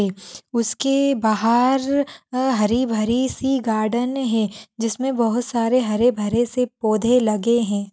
उसके बाहर अ हरी भरी सी गार्डन है जिसमें बहुत सारे हरे भरे से पौधे लगे हैं।